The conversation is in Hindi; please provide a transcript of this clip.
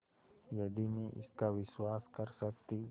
यदि मैं इसका विश्वास कर सकती